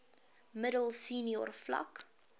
middel senior vlak